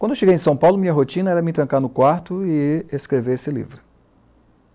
Quando eu cheguei em São Paulo, minha rotina era me trancar no quarto e escrever esse livro.